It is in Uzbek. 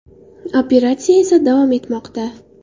Operatsiya esa davom etmoqda.